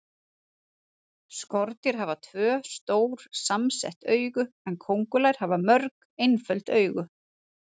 Skordýr hafa tvö, stór samsett augu en kóngulær hafa mörg, einföld augu.